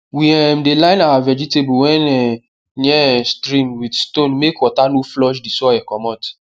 we um dey line our vegetable wey um near um stream with stone make water no flush di soil comot